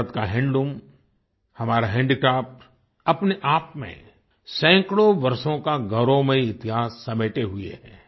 भारत का हैंडलूम हमारा हैंडीक्राफ्ट अपने आप में सैकड़ो वर्षों का गौरवमयी इतिहास समेटे हुए है